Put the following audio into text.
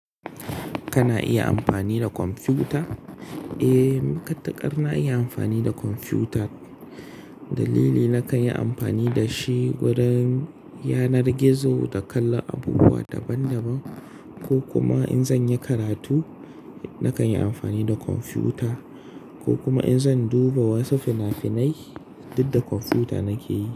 Kana iya amfani da kwamfuta? Eh, ni ƙaɗan na iya amfani da kwamfuta. Dalili na kan yi amfani da shi wurin yanar gizo da kallon abubuwa daban daban. Ko kuma in zan yi karatu, na kan yi amfani da kwamfuta, ko kuma in zan duba wasu fina-finai, duk da kwamfuta nake yi.